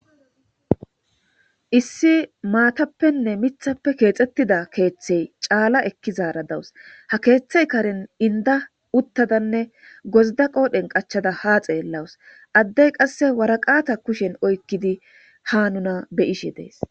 Issi maatappene miththape keexetida keethe caala ekkidara dawus. Ha keethay karen inda uttadane gozda qoodhen qachchada ha xeelashe dawuse. Addey qasseka waraqata kushen oykidi ha be'ishe dees.